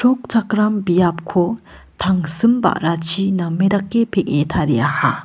chrokchakram biapko tangsim ba·rachi name dake peng·e tariaha.